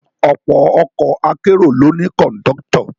Ọ̀pọ̀ ọkọ̀ akérò ló ní Kọ̀ńdọ́tọ̀